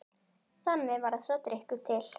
Þannig varð sá drykkur til.